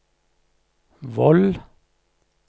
Voll